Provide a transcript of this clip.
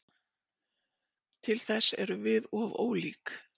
Til þess erum við of ólík.